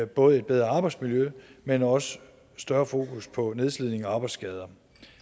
både et bedre arbejdsmiljø men også større fokus på nedslidning og arbejdsskader